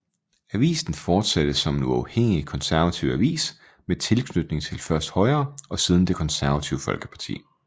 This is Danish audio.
Avisen fortsatte som en uafhængig konservativ avis med tilknytning til først Højre og siden Det Konservative Folkeparti